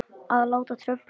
Að láta trufla mig.